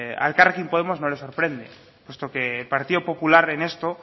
a elkarrekin podemos no le sorprende puesto que el partido popular en esto